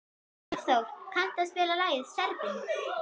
Álfþór, kanntu að spila lagið „Serbinn“?